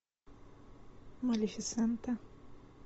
малефисента